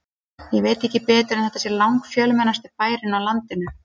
Ég veit ekki betur en þetta sé langfjölmennasti bærinn á landinu.